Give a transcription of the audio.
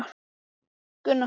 Af bláum manni á leið í fjöru